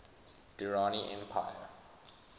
durrani empire